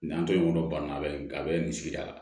Nin an to yen nɔ banna a bɛ nin a bɛ nin sigida la